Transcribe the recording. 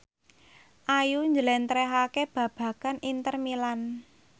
Ayu njlentrehake babagan Inter Milan